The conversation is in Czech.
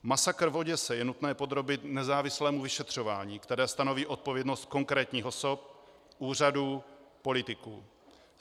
Masakr v Oděse je nutné podrobit nezávislému vyšetřování, které stanoví odpovědnost konkrétních osob, úřadů, politiků.